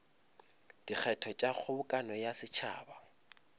dikgetho tša kgobokano ya setšhaba